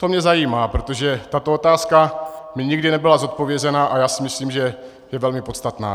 To mě zajímá, protože tato otázka mi nikdy nebyla zodpovězena, a já si myslím, že je velmi podstatná.